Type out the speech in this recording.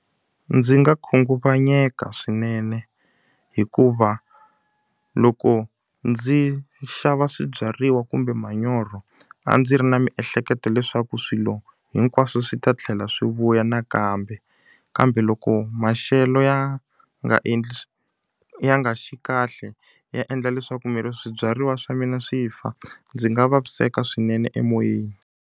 Ndzi nga khunguvanyeka swinene hikuva loko ndzi xava swibyariwa kumbe manyoro, a ndzi ri na miehleketo leswaku swilo hinkwaswo swi ta tlhela swi vuya nakambe. Kambe loko maxelo ya nga endli ya nga xi kahle, ya endla leswaku swibyariwa swa mina swi fa. Ndzi nga vaviseka swinene emoyeni.